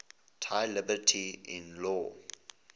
thy liberty in law